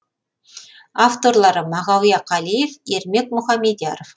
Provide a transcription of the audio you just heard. авторлары мағауия қалиев ермек мұхамедияров